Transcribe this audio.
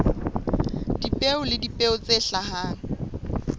dipeo le dipeo tse hlahang